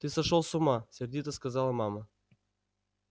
ты сошёл с ума сердито сказала мама